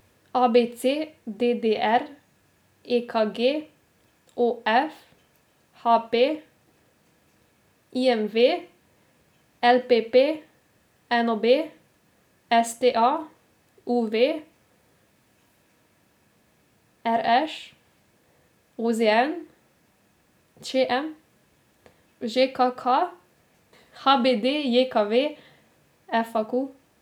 A B C; D D R; E K G; O F; H P; I M V; L P P; N O B; S T A; U V; R Š; O Z N; Č M; Ž K K; H B D J K V; F A Q.